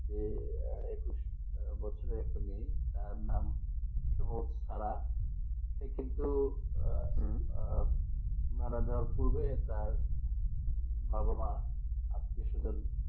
যেএকুশ বছর বয়সে মেয়ে তার নাম শুভ সাহা সে কিন্তু মারা যাওয়ার পূর্বে বাবা-মা আত্মীয়-স্বজন